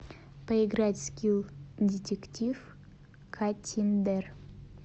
поиграть в скилл детектив каттиндер